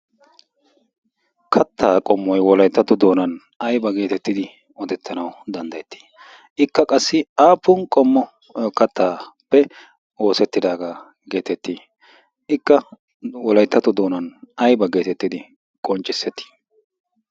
kattaa qommoi wolayttatu doonan ayba geetettidi odettanau danddayettii ikka qassi aafun qommo kattaappe oosettidaagaa geetettii ikka wolayttatu doonan aiba geetettidi qonccissettii?